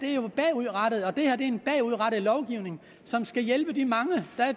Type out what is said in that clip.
er jo bagudrettet og det her er en bagudrettet lovgivning som skal hjælpe de